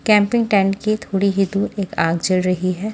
Camping tent के थोड़ी ही दूर एक आग जल रही है।